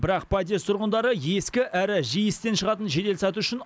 бірақ подъезд тұрғындары ескі әрі жиі істен шығатын жеделсаты үшін